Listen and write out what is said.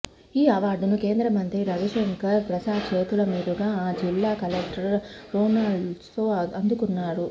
ఈఅవార్డును కేంద్రమంత్రి రవిశంకర్ ప్రసాద్ చేతుల మీదుగా ఆ జిల్లా కలెక్టర్ రోనాల్డ్రోస్ అందుకున్నారు